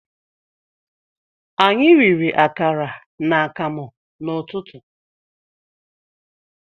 Anyị riri akara na akamụ n'ụtụtụ